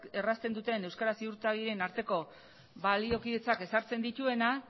errazten duten euskara ziurtagirien arteko baliokidetzak ezartzen dituenak